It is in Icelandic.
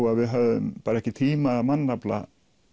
að við höfum ekki tíma og mannafla